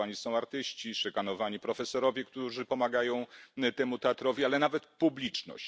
Szykanowani są artyści, szykanowani są profesorowie, którzy pomagają temu teatrowi, ale nawet publiczność.